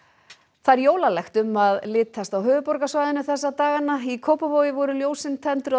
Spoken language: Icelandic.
það er jólalegt um að litast á höfuðborgarsvæðinu þessa dagana í Kópavogi voru ljósin tendruð á